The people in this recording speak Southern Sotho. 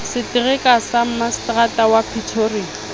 setereka sa maseterata wa pretoria